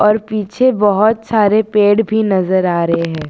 और पीछे बहोत सारे पेड़ भी नजर आ रहे हैं।